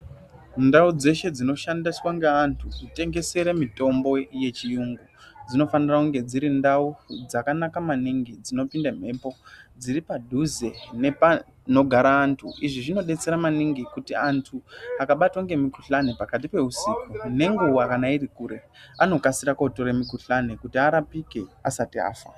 Ndau dzeshe dzinoshandiswa ngeantu kutengesere mitombo yechiyungu dzinofanire kunge dziri ndau dzakanaka maningi dzinopinda mhepo, dziri padhuze nepanogara antu izvi zvinodetsera maningi kuti antu akabatwa ngemikuhlani pakati peusiku nenguwa kana iri kure anokasire kunotora mitombo kuti arapike asati afa.